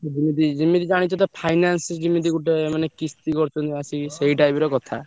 ଯେମିତି ଜାଣିଛ ତ finance ଯେମିତି ଗୋଟେ ମାନେ କିସ୍ତି କରୁଛନ୍ତି ସେଇ type ର କଥା।